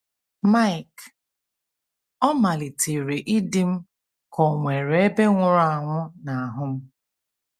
Mike: “Ọ malitere ịdị m ka onwere ebe nwụrụ anwụ na ahụ m.